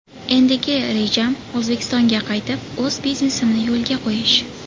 Endigi rejam O‘zbekistonga qaytib, o‘z biznesimni yo‘lga qo‘yish.